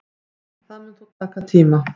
Það mun þó taka tíma